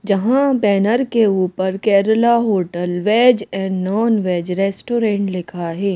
जहां बैनर के ऊपर Kerala hotel veg and non veg restaurant लिखा है।